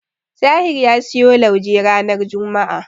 Tahir ya siyo lauje ranar juma'a.